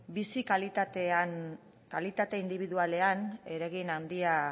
bizi kalitate indibidualean eragin handia